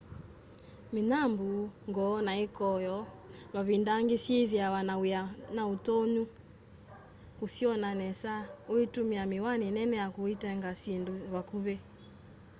mĩnyambũ ngo na ikoyo mavinda angĩ syĩthĩawa na wia na ũtonya kũsyona nesa ũitũmĩa mĩwani nene ya kũetange syĩndũ vakuvĩ